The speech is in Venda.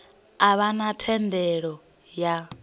a vha na thendelo ya